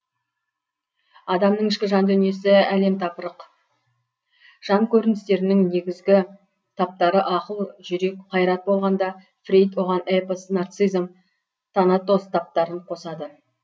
адамның ішкі жан дүниесі әлемтапырық жан көріністерінің негізгі таптары ақыл жүрек қайрат болғанда фрейд оған эпос нарциссизм танатос таптарын қосады